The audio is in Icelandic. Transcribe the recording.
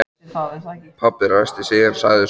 Pabbi ræskti sig en sagði svo